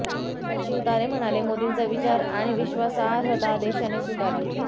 शिवतारे म्हणाले मोदींचा विचार आणि विश्वासार्हता देशाने स्वीकारली